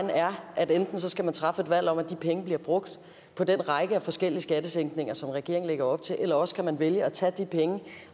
er at enten kan man træffe et valg om at de penge bliver brugt på den række af forskellige skattesænkninger som regeringen lægger op til eller også kan man vælge at tage de penge